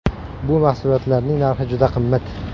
Bu mahsulotlarning narxi juda qimmat.